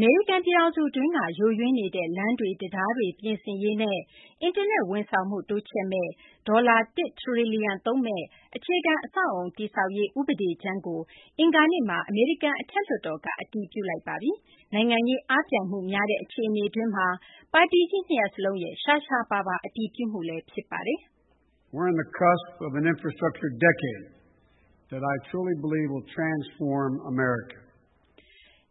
မေရိကန် ပြည်ထောင်စု အတွင်းက ယိုယွင်းနေတဲ့ လမ်းတွေ၊ တံတားတွေ ပြင်ဆင်ရေးနဲ့ အင်တာနက် ဝန်ဆောင်မှုကို တိုးချဲ့မယ့် ဒေါ်လာ ၁ ထရီလီယံ သုံးမယ့် အခြေခံ အဆောက်အအုံ တည်ဆောက်ရေး ဥပဒေကြမ်းကို အင်္ဂါနေ့မှာ အမေရိကန် အထက်လွှတ်တော်က အတည်ပြုလိုက်ပါတယ်။ နိုင်ငံရေး အားပြိုင်မှု များတဲ့ အခြေအနေတွင်းမှာ ပါတီကြီး နှစ်ရပ်စလုံးရဲ့ ရှားရှားပါးပါး အတည်ပြုမှုလည်း ဖြစ်ပါတယ်။